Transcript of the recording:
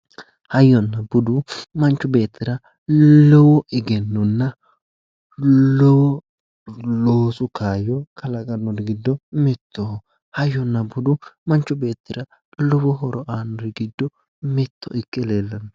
Hayyonna budu manchu beettira lowo egennonna lowo loosu kaayyo kalaqannori giddo mittoho. hayyonna budu manchu beettira lowo horo aannori giddo mitto ikke leellanno.